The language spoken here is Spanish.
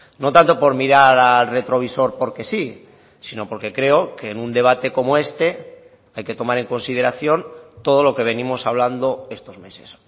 no tanto por mirar al retrovisor porque sí sino porque creo que en un debate como este hay que tomar en consideración todo lo que venimos hablando estos meses